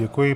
Děkuji.